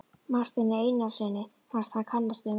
Marteini Einarssyni fannst hann kannast við manninn.